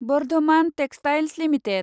Bardhaman textiles limited